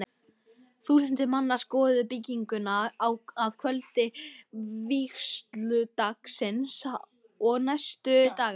Þúsundir manna skoðuðu bygginguna að kvöldi vígsludagsins og næstu daga.